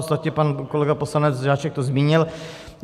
Ostatně pan kolega poslanec Žáček to zmínil.